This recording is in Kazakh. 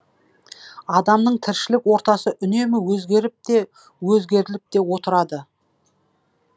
адамның тіршілік ортасы үнемі өзгеріп те өзгертіліп те отырады